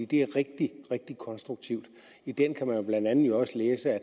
det er rigtig konstruktivt i den kan man jo blandt andet også læse at